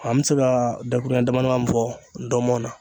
An bɛ se ka dakuru ɲɛ dama dama min fɔ dɔmɔni na.